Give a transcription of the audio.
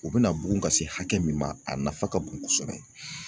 U bɛna bugun ka se hakɛ min ma a nafa ka bon kosɛbɛ